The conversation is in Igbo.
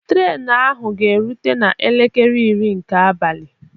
Trenu ahu ga erute na elekere iri nke abalị